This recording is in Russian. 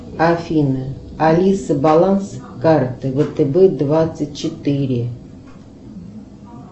афина алиса баланс карты втб двадцать четыре